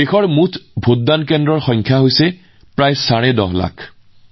যদি আমি ভোটকেন্দ্ৰৰ কথা কওঁ আজি দেশত ইয়াৰ সংখ্যা প্ৰায় ১০৫ লাখ